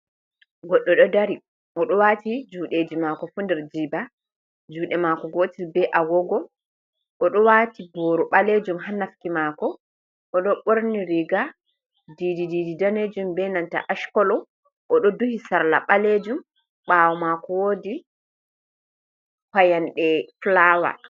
Goɗɗo ɗo dari oɗo wati juɗeji mako fu nder jiɓa juɗe mako gotel be agogo, oɗo wati boru ɓalejum ha nafki mako, o ɗo ɓorni riga didi didi ɗanejum, benanta ash kolo, oɗo duhi sarla ɓalejum ɓawo mako wodi fayande fulawa.